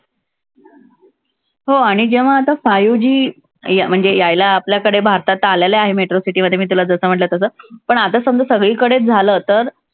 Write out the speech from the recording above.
हो आणि जेव्हा आता five G अं म्हणजे यायला आपल्याकडे भारतात आलेलं आहे metro city मध्ये मी तुला जसं म्हंटल तसं. पण आता समजा सगळीकडे झालं तर,